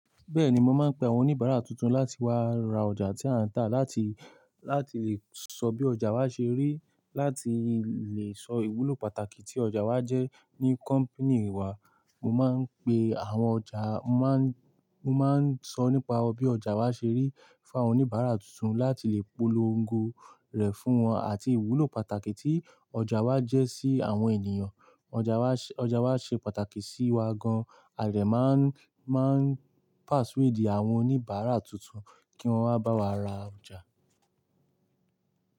Bẹ́ẹ̀ni, mo máa ń pe àwọn oníbàárà tuntun láti wá ra ọjà tí a ń tà láti, láti lè sọ bí ọjà wa ṣe rí, láti lè sọ ìwúlò pàtàkì tí ọjà wa jẹ́ ní company wa. Mo máa ń pe àwọn ọjà, mo má ń, mo má ń sọ nípa bí ọjà wa ṣe rí fún àwọn oníbàárà tuntun láti lè polongo rẹ̀ fún wọn àti ìwúlò pàtàkì tí ọjà wa jẹ́ sí àwọn ènìyàn. Ọjà wa ṣe, ọjà wa ṣe pàtàkì sí wa gan, à dé ma ń, máa ń persuade awon oníbàárà tuntun kí wọ́n wá bá wa ra ọjà.